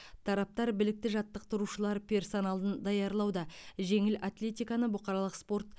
тараптар білікті жаттықтырушылар персоналын даярлауда жеңіл атлетиканы бұқаралық спорт